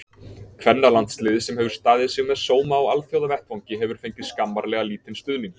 Kvennalandsliðið, sem hefur staðið sig með sóma á alþjóðavettvangi, hefur fengið skammarlega lítinn stuðning.